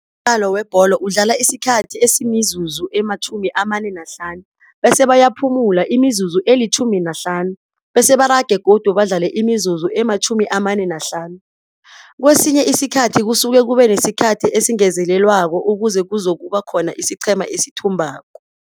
Umdlalo webholo udlala isikhathi eaimizuzu ema-45 bese bayaphumula imizuzu eli-15 bese barage godu badlale imizuzu ema-45. Kwesinye iskhathi kusuke kube nesikhathi esingezelelwako ukuze kuzokuba khona isiqhema esithumbako.